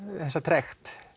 þessa trekt